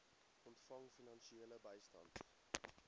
ontvang finansiële bystand